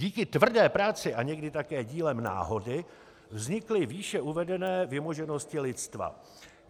Díky tvrdé práci a někdy také dílem náhody vznikly výše uvedené vymoženosti lidstva.